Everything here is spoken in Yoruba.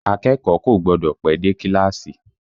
Akẹ́kọ̀ọ́ kò gbọ́dọ̀ pẹ́ dé kíláàsì!